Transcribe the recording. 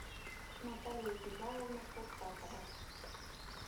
наталья вячеславовна куртасова